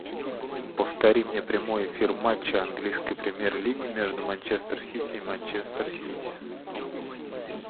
повтори мне прямой эфир матча английской премьер лиги между манчестер сити и манчестер сити